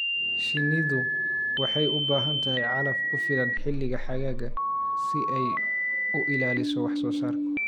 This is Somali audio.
Shinnidu waxay u baahan tahay calaf ku filan xilliga xagaaga si ay u ilaaliso wax soo saarka.